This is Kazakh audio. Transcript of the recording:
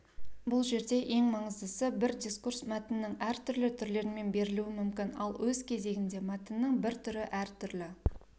бұл жерде ең маңыздысы бір дискурс мәтіннің әртүрлі түрлерімен берілуі мүмкін ал өз кезегінде мәтіннің бір түрі әртүрлі